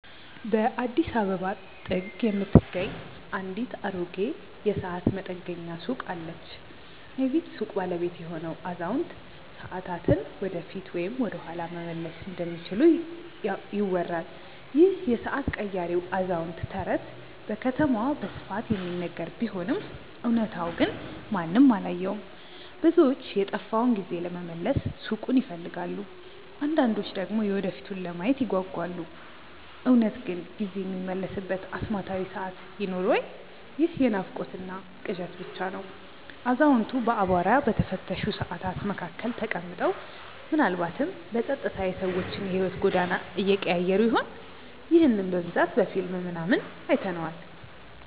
በአዲስ አበባ ጥግ የምትገኝ አንዲት አሮጌ የሰዓት መጠገኛ ሱቅ አለች። የዚህች ሱቅ ባለቤት የሆነው አዛውንት፣ ሰዓታትን ወደፊት ወይም ወደኋላ መመለስ እንደሚችሉ ይወራል ይህ የሰዓት ቀያሪው አዛውንት ተረት በከተማዋ በስፋት የሚነገር ቢሆንም እውነታው ግን ማንም አላየውም። ብዙዎች የጠፋውን ጊዜ ለመመለስ ሱቁን ይፈልጋሉ አንዳንዶች ደግሞ የወደፊቱን ለማየት ይጓጓሉ። እውነት ግን ጊዜ የሚመለስበት አስማታዊ ሰዓት ይኖር ወይ ይህ የናፍቆትና ቅዠት ብቻ ነው አዛውንቱ በአቧራ በተሸፈኑ ሰዓታት መካከል ተቀምጠው፣ ምናልባትም በጸጥታ የሰዎችን የሕይወት ጎዳና እየቀያየሩ ይሆን? ይህንን በብዛት በፊልም ምናምን አይተነዋል